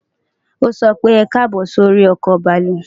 O so pe, ekabo si ori oko baalu.